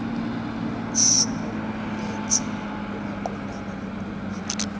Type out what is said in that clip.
nomshuwalense omaqondana nokubi